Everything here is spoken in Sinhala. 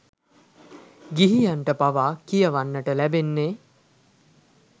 ගිහියන්ට පවා කියවන්නට ලැබෙන්නේ